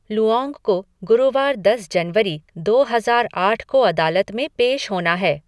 लुऔंग को गुरुवार दस जनवरी, दो हजार आठ को अदालत में पेश होना है।